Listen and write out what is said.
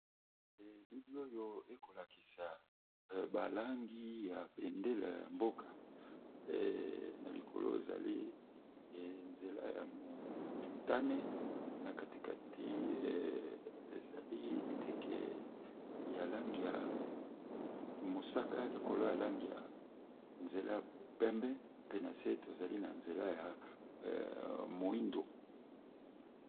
Elili oyo ekolakisa balangi ya bendele yamboka nalikolo ezali ya nzela motane na katikati eza ndeke ya langi ya mosaka likoya langi nzela ya pembe pe nase tozali ya nzela ya moyindo.